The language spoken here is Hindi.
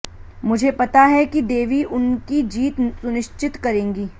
मुझे पता है कि देवी उनकी जीत सुनिश्चित करेंगी